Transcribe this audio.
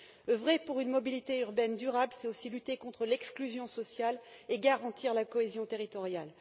Oeuvrer pour une mobilité urbaine durable, c'est aussi lutter contre l'exclusion sociale et garantir la cohésion territoriale.